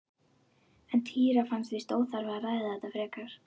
En Týra fannst víst óþarft að ræða þetta frekar.